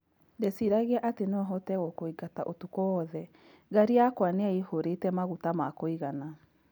Ndeciragia ati nohote gũkũigata ũtuku wothe, ngari yakwa niyaihũrite maguta ma kũigana